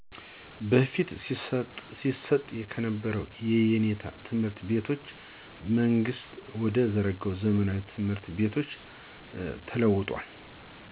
በፊት ሲሰጥ ከነበረው የየኔታ ትምህርት ቤቶች መንግስት ወደ ዘረጋው ዘመናዊ ትምህርት ቤቶች ተለውጧል።